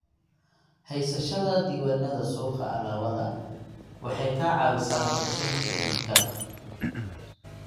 Haysashada diiwaannada suuqa alaabadu waxay ka caawisaa qorsheynta iibka.